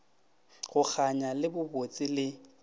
go kganya le bobotse le